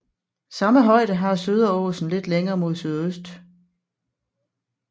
Samme højde har Söderåsen lidt længere mod sydøst